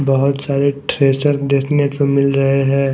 बहुत सारे ट्रेसर देखने को मिल रहे हैं।